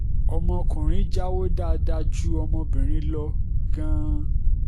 ọmọ ọkùnrin jáwọ́ dáadáa ju ọmọbìnrin lọ gan-an